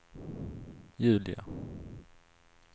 Julia